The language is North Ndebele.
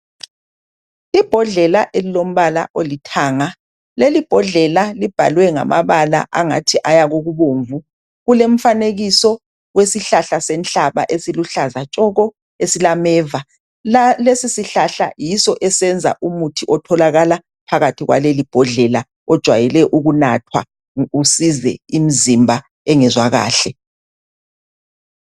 Ibhodlela elilombala olithanga, lelibhodlela libhalwe ngamabala angathi aya kokubomvu. Kulemfanekiso wesihlahla senhlaba esiluhlaza tshoko esilameva. Lesisihlahla yiso esenza umuthi otholakala phakathi kwalelibhodlela ojayele ukunathwa usize imizimba engezwa kahle.